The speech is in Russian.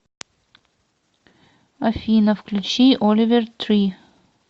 афина включи оливер три